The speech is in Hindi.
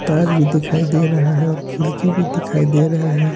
तार भी दिखाई दे रहा है और खिड़की भी दिखाई दे रहे हैं।